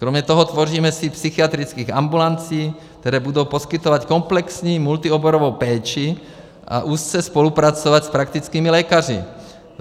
Kromě toho tvoříme síť psychiatrických ambulancí, které budou poskytovat komplexní multioborovou péči a úzce spolupracovat s praktickými lékaři.